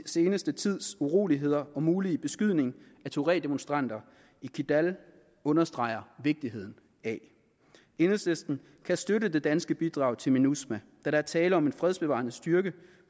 seneste tids uroligheder og mulige beskydning af tuaregdemonstranter i kidal understreger vigtigheden af enhedslisten kan støtte det danske bidrag til minusma da der er tale om en fredsbevarende styrke